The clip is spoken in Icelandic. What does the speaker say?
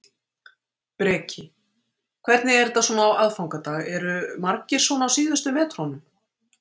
Breki: Hvernig er þetta svona á aðfangadag, eru margir svona á síðustu metrunum?